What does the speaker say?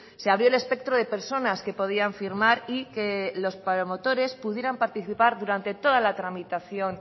se abrió el espectro de personas que podían firmar y que los promotores pudieran participar durante toda la tramitación